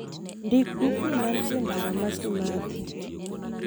Ndik dukni mantie e ndara ma Kimathi